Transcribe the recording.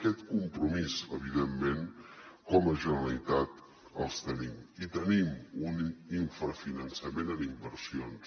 aquest compromís evidentment com a generalitat el tenim i tenim un infrafinançament en inversions